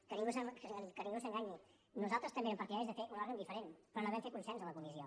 que ningú s’enganyi nosaltres també érem partidaris de fer un òrgan diferent però no vam fer consens a la comissió